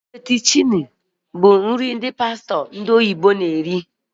Fettucini bụ ụdị pasta bụ ndị ndị oyibo